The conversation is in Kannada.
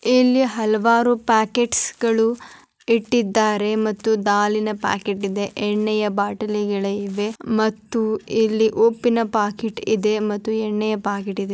ಇಲ್ಲಿ ಹಲವಾರು ಪ್ಯಾಕೆಟ್ಸ್ ಗಳು ಇಟ್ಟಿದಾರೆ ಮತ್ತು ದಾಳಿನ ಪ್ಯಾಕೆಟ್ ಇದೆ ಎಣ್ಣೆಗಳ ಬಾಟಲಿಗಳಿವೆ ಮತ್ತು ಇಲ್ಲಿ ಉಪ್ಪಿನ ಪ್ಯಾಕೆಟ್ ಇದೆ ಮತ್ತು ಎಣ್ಣೆಯ ಪ್ಯಾಕೆಟ್ ಇದೆ.